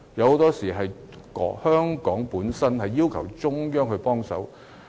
很多時候，是香港本身要求中央給予協助。